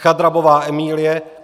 Chadrabová Emílie